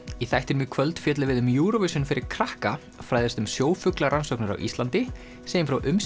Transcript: í þættinum í kvöld fjöllum við um Eurovision fyrir krakka fræðumst um sjófuglarannsóknir á Íslandi segjum frá